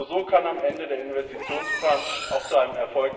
Nur so kann am Ende der Investitionsplan auch